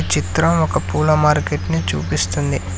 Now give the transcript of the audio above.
చిత్రం ఒక పూల మార్కెట్ ని చూపిస్తుంది.